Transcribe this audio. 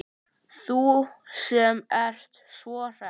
Þú sem ert svo hress!